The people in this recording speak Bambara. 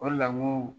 O de la ŋo